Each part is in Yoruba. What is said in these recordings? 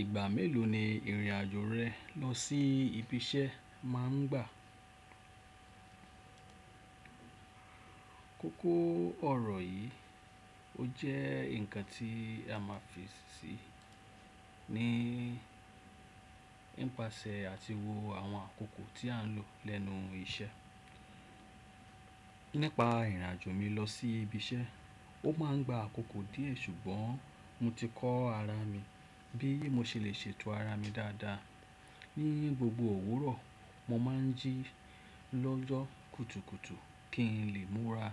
Ìgbà mélòó ni ìrìn àjò rẹ lọ sí ibi iṣẹ́ máa ń gbà? Kókó ọ̀rọ̀ yìí, ó jẹ́ ǹkan tí a máa ń fi sí ní ìpasẹ̀ àti wo àwọn àkókò tí a ń lò lẹ́nu iṣẹ́. Nípa ìrìn àjò mi lọ sí ibi iṣẹ́, ó máa ń gba àkókò díẹ̀ ṣùgbọ́n mo ti kọ́ ara mi bí mo ṣe lè ṣètò ara mi dáadáa. Ni gbogbo òwúrọ̀, mo máa ń jí lọ́jọ́ kùtùkùtù kí n lè múra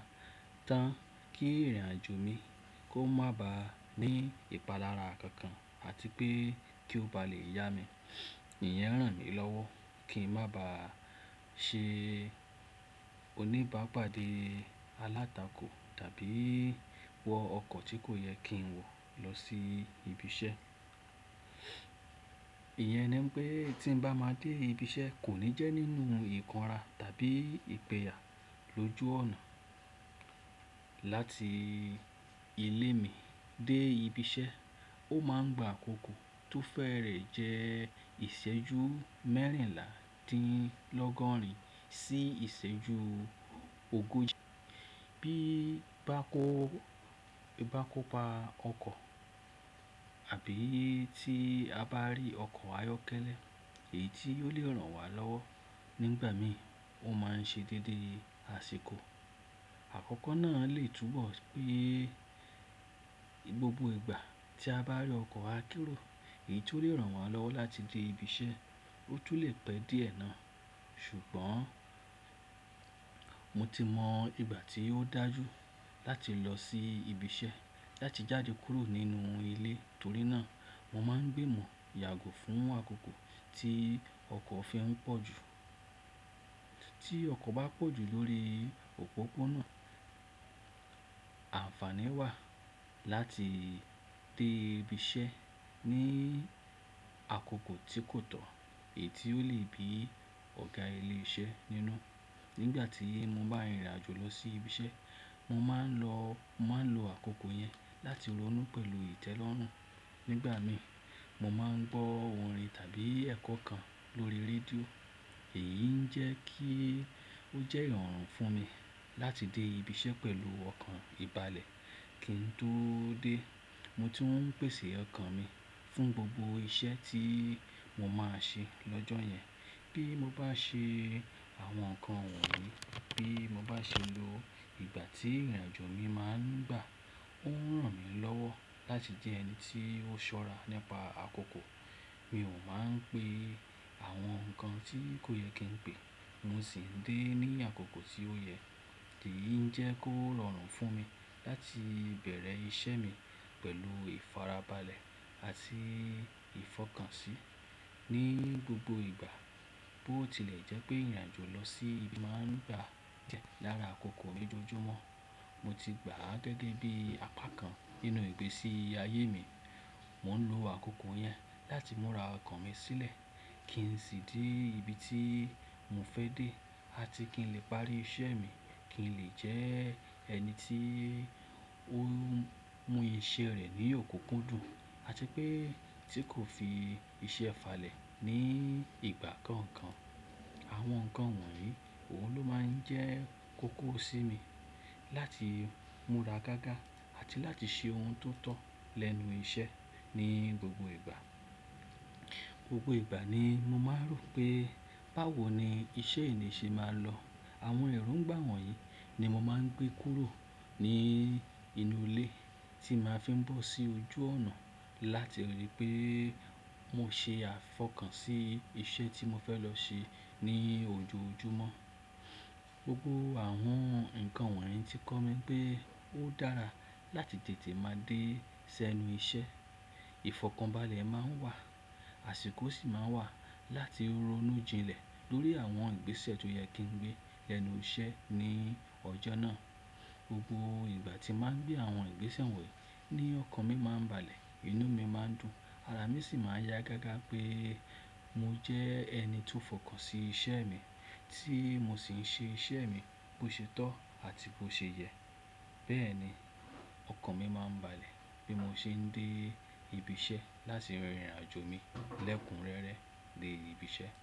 tán kí ìrìn àjò mi kó má ba ní ìpalára kankan àti pé kí ó ba lè yá mi. Ìyẹn ń ràn mí lọ́wọ́ kí n má ba ṣe oníbàápàdé alátakò tàbí wọ ọkọ̀ tí kò yẹ kí n wọ̀ lọ sí ibi iṣẹ́. Ìyẹn ni pé tí ń bá máa dé ibi iṣẹ́ kò ní jẹ́ nínú ìkánra tàbí ìpẹ̀yà. Lójú ọ̀nà láti ilé mi dé ibi iṣẹ́, ó máa ń gba àkókò tó fẹ́rẹ̀ jẹ́ ìṣẹ́jú mẹ́rìnlá dín lọ́gọ́rin sí ìṣẹ́jú ogójì bí bá kó, bá kó pa ọkọ̀ àbí tí a bá rí ọkọ̀ ayọ́kẹ́lẹ́ èyí tí ó lè ràn wá lọ́wọ́. Nígbà mí, ó máa ń ṣe déédé àsìkò. Àkọ́kọ́ náà lè túbọ̀ pé gbogbo ìgbà tí a bá rí ọkọ̀ akérò èyí tó lè ràn wá lọ́wọ́ láti dé ibi iṣẹ́, ó tún lè pẹ́ díẹ̀ náà ṣùgbọ́n mo ti mọ ìgbà tí ó dájú láti lọ sí ibi iṣẹ́ láti jáde kúrò nínú ilé torí náà mo máa ń gbìmọ̀ yàgò fún àkókò tí ọkọ̀ fi ń pọ̀ jù. Tí ọkọ̀ bá pọ̀ jù lórí òpópónà, àǹfàní wà láti dé ibi iṣẹ́ ní àkókò tí kò tọ̀ èyí tí ó lè bí ọ̀gá ilé iṣẹ́ nínú. Nígbà tí mo bá rìnrìn àjò lọ sí ibi iṣẹ́, mo máa ń lọ, mo máa ń lo àkókò yẹn láti ronú pẹ̀lú ìtẹ́lọ́rùn. Nígbà mí, mo máa ń gbọ́ orin tàbí ẹ̀kọ́ kan lórí rédíò èyí ń jẹ́ kí ó jẹ́ ìrọ̀rùn fún mi láti dé ibi iṣẹ́ pẹ̀lú ọkàn ìbálẹ̀ kí n tó dé. Mo tún ń pèsè ọkàn mi fún gbogbo iṣẹ́ tí mo máa ṣe lọ́jọ́ yẹn. Bí mo bá ṣe àwọn nǹkan wọ̀nyí, bí mo bá ṣe lo ìgbà tí ìrìn àjò mi máa ń gbà, ó ń ràn mí lọ́wọ́ láti jẹ́ ẹni tí ó ṣọ́ra nípa àkókò. Mi ò máa ń pe àwọn nǹkan tí kò yẹ kí n pè mo sì ń dé ní àkókò tí ó yẹ. Èyí ń jẹ́ kó rọrùn fún mi láti bẹ̀rẹ̀ ìṣe mi pẹ̀lú ìfarabalẹ̀ àti ìfọkànṣí. Ni gbogbo ìgbà bó tilẹ̀ jẹ́ pé ìrìn àjò lọ sí ibi máa ń gbà jẹ́ lára àkókò mi lójoojúmọ́, mo ti gbà á gẹ́gẹ́ bí apá kan nínú ìgbésí ayé mi. Mo ń lo àkókò yẹn láti múra ọkàn mi sílẹ̀ kí n sì dé ibi tí mo fẹ́ dé àti kí n lè parí iṣẹ́ mi, kí n lè jẹ́ ẹni tí ó mú iṣẹ́ rẹ̀ ní òkúkú dùn àti pé tí kò fi iṣẹ́ falẹ̀ ní ìgbà kankan. Àwọn nǹkan wọ̀nyí, òun ló máa ń jẹ́ kókó sí mi láti múra gágá àti láti ṣe oun tó tọ́ lẹ́nu iṣẹ́ ní gbogbo ìgbà. Gbogbo ìgbà ni mo máa ń rò pé báwo ni iṣẹ́ ènìyàn ṣe máa lọ. Àwọn ẹ̀rùǹgbàwọ̀n yìí ni mo máa ń gbé kúrò ní inú ilé tí màá fi ń bọ̀ sí ojú ọ̀nà láti ríi pé mo ṣe àfọkàn sí iṣẹ́ tí mo fẹ́ lọ ṣe ní ojoojúmọ́. Gbogbo àwọn nǹkan wọ̀nyí ti kọ́ mi pé ó dára láti tètè máa dé sẹ́nu iṣẹ́. Ìfọ̀kànbalẹ̀ máa ń wà, àsìkò sì máa ń wà láti ronú jinlẹ̀ lórí àwọn ìgbésẹ̀ tó yẹ kí n gbé lẹ́nu iṣẹ́ ní ọjọ́ náà. Gbogbo ìgbà tí màá ń gbé àwọn ìgbésẹ̀ wọ̀nyí ní ọkàn mi máa ń balẹ̀, inú mi máa ń dùn, ara mi sì máa ń yá gágá pé mo jẹ́ ẹni tó fọkàn sí iṣẹ́ mi tí mo sì ń ṣe iṣẹ́ mi bó ṣe tọ́ àti bó ṣe yẹ. Bẹ́ẹ̀ ni ọkàn mi máa ń balẹ̀ bí mo ṣe ń dé ibi iṣẹ́ láti rere ìrìn àjò mi lẹ́kùnrẹ́rẹ dé ibi iṣẹ́.